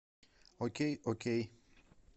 окей окей